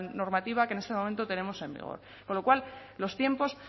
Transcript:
normativa que en este momento tenemos en vigor con lo cual los tiempos